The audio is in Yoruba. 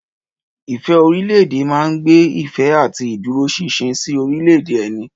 Ìfẹ́ orílẹ̀-èdè máa ń gbé ìfẹ́ àti ìdúróṣinṣin sí orílẹ̀-èdè ẹni.